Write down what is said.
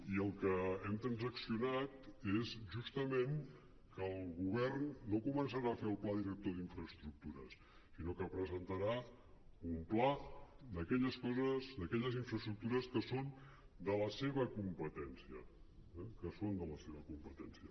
i el que hem transaccionat és justament que el govern no començarà a fer el pla director d’infraestructures sinó que presentarà un pla d’aquelles coses d’aquelles infraestructures que són de la seva competència eh que són de la seva competència